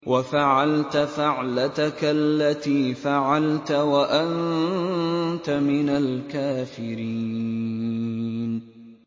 وَفَعَلْتَ فَعْلَتَكَ الَّتِي فَعَلْتَ وَأَنتَ مِنَ الْكَافِرِينَ